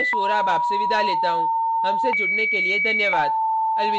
IIT Bombay से मैं यश वोरा आपसे विदा लेता हूँ